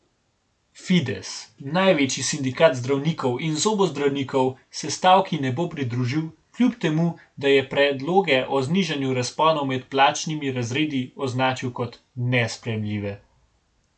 Fides, največji sindikat zdravnikov in zobozdravnikov se stavki ne bo pridružil, kljub temu, da je predloge o znižanju razponov med plačnimi razredi označil kot nesprejemljive.